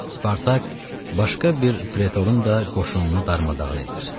Spartak başqa bir pretorun da qoşununu darmadağın edir.